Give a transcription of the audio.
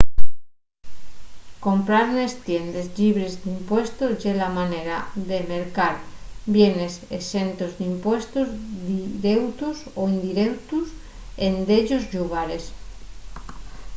comprar nes tiendes llibres d’impuestos ye la manera de mercar bienes exentos d’impuestos direutos y indireutos en dellos llugares